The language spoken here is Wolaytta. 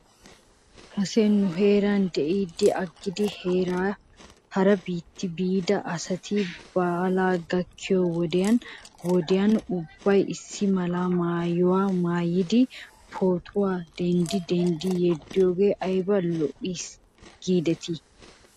Kase nu heeran de'iiddi aggidi hara biitta biida asati baalay gakkiyoo wodiyan wodiyan ubbay issi mala maayuwaa maayidi pootuwaa denddi denddidi yeddiyoogee ayba lo'es giidetii?